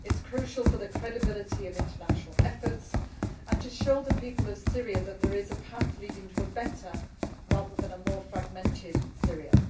It is crucial for the credibility of the international efforts and to show the people of Syria that there is a path leading to a better, rather than a more fragmented, Syria.